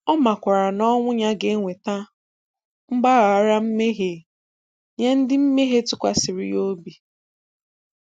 Ọ makwara na ọnwụ Ya ga-eweta mgbaghara mmehie nye ndị mmehie tụkwasịrị Ya obi.